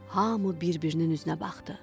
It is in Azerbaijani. Hamı bir-birinin üzünə baxdı.